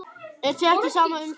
Er þér ekki sama um það?